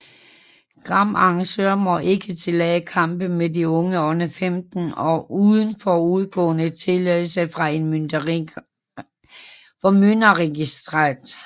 Kamparrangører må ikke tillade kampe med unge under 15 år uden forudgående tilladelse fra en formynderregistrant